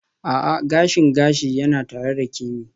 A'a, gashin gashi yana tare da Kemi.